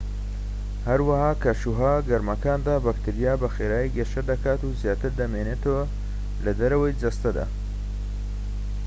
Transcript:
هەروەها لە کەشوهەوا گەرمەکاندا بەکتریا بە خێرایی گەشە دەکات و زیاتر دەمێنێتەوە لە دەرەوەی جەستەدا